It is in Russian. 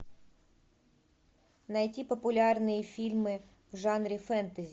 найти популярные фильмы в жанре фэнтези